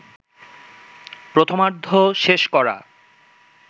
প্রথমার্ধ শেষ করা